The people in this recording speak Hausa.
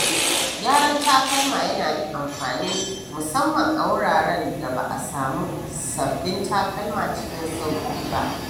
Gyaran takalma yana da amfani musamman a wuraren da ba a samu sabbin takalma cikin sauƙi ba.